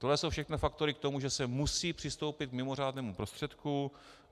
To jsou všechno faktory k tomu, že se musí přistoupit k mimořádnému prostředku.